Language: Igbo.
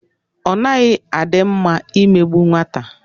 Ọ naghị a dị mma i megbu nwata.